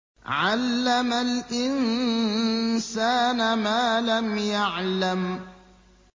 عَلَّمَ الْإِنسَانَ مَا لَمْ يَعْلَمْ